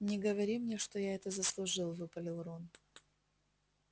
не говори мне что я это заслужил выпалил рон